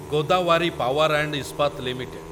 Godavari power and Ispat limited